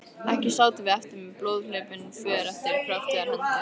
Ekki sátum við eftir með blóðhlaupin för eftir kröftugar hendur.